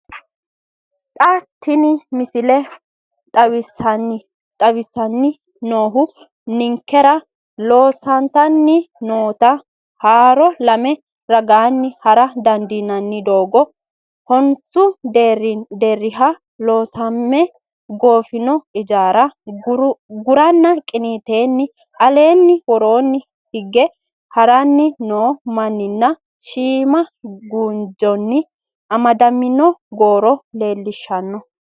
Xa tini missile xawissanni noohu ninkera loosantanni noota haaro lame ragaanni hara dandiinanni doogo, honsu deerriha loosame goofino ijaara, guraanna qiniiteenni alenna woro hige haranni noo mannanna shiima guunjonni amadamino goro leellishshanno.